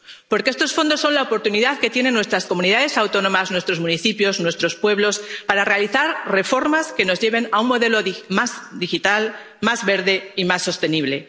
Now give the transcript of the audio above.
Porque estos fondos son la oportunidad que tienen nuestras comunidades autónomas, nuestros municipios, nuestros pueblos para realizar reformas que nos lleven a un modelo más digital, más verde y más sostenible